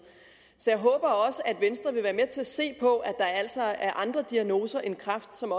så jeg håber også at venstre vil være med til at se på at der altså er andre diagnoser end kræft som